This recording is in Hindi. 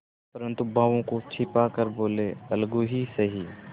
परंतु भावों को छिपा कर बोलेअलगू ही सही